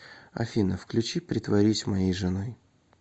афина включи притворись моей женой